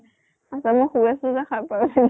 আত্ছা মই শুই গৈছিলো যে সাৰ পাই ওঠি